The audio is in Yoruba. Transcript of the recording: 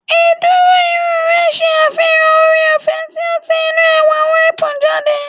Ìdúró irun rẹ ṣe àfihàn ooreọ̀fẹ́ tí ó ti inú ẹwà wispy jáde